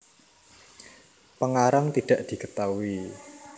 Pengarang tidak diketahui